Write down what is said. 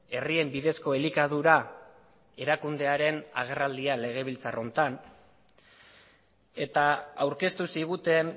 herrien bidezko elikadura erakundearen agerraldia legebiltzar honetan eta aurkeztu ziguten